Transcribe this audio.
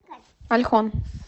ольхон